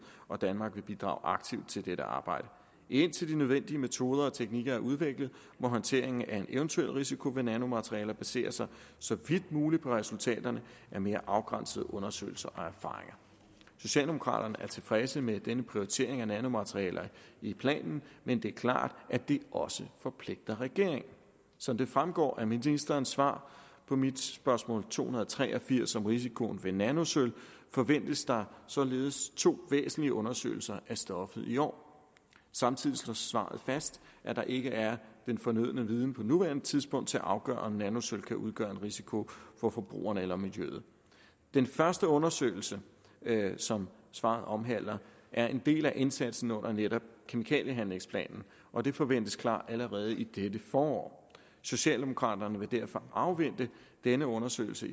og danmark vil bidrage aktivt til dette arbejde indtil de nødvendige metoder og teknikker er udviklet må håndteringen af en eventuel risiko ved nanomaterialer basere sig så vidt muligt på resultaterne af mere afgrænsede undersøgelser og erfaringer socialdemokraterne er tilfredse med denne prioritering af nanomaterialer i planen men det er klart at det også forpligter regeringen som det fremgår af ministerens svar på mit spørgsmål to hundrede og tre og firs om risikoen ved nanosølv forventes der således to væsentlige undersøgelser af stoffet i år samtidig slår svaret fast at der ikke er den fornødne viden på nuværende tidspunkt til at afgøre om nanosølv kan udgøre en risiko for forbrugeren eller miljøet den første undersøgelse som svaret omhandler er en del af indsatsen under netop kemikaliehandlingsplanen og den forventes klar allerede i dette forår socialdemokraterne vil derfor afvente denne undersøgelse